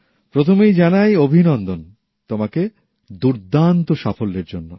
প্রথমেই জানাই অভিনন্দন তোমাকে দুর্দান্ত সাফল্যের জন্য